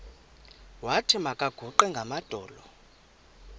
wathi makaguqe ngamadolo